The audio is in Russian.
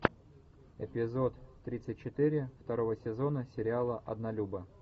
эпизод тридцать четыре второго сезона сериала однолюбы